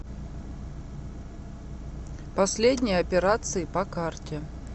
последние операции по карте